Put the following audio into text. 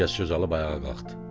Gülgəz söz alıb ayağa qalxdı.